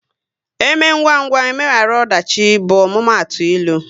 " Eme ngwa ngwa, emegharu ọdachi" bụ omumatu ịlụ